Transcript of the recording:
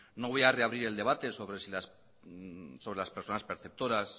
no voy a reabrir el debate sobre las personas perceptoras